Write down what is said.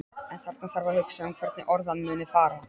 En þarna þarf að hugsa um hvernig orðan muni fara.